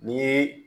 Ni